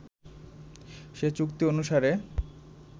সে চুক্তি অনুসারে